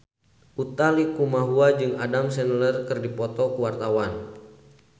Utha Likumahua jeung Adam Sandler keur dipoto ku wartawan